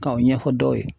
K'aw ɲɛfɔ dɔw ye